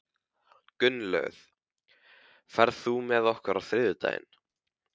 Gunnlöð, ferð þú með okkur á þriðjudaginn?